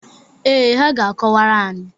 Ee, ha ga-akọwara anyị.